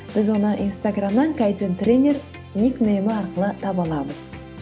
біз оны инстаграмнан кайдзен тренер ник неймы арқылы таба аламыз